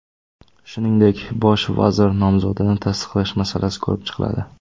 Shuningdek, bosh vazir nomzodini tasdiqlash masalasi ko‘rib chiqiladi.